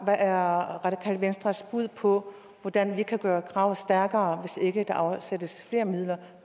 radikale venstres bud på hvordan vi kan gøre kravet stærkere hvis der ikke afsættes flere midler